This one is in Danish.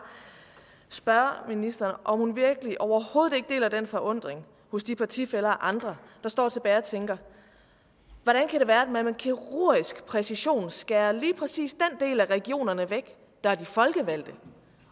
spørge ministeren om hun virkelig overhovedet ikke deler den forundring hos de partifæller og andre der står tilbage og tænker hvordan kan det være at man med kirurgisk præcision skærer lige præcis den del af regionerne væk der er de folkevalgte